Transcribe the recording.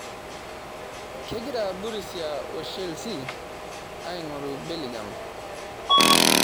Kegira borusia o Chelisi aing'oru beligam